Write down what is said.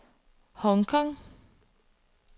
Hong Kong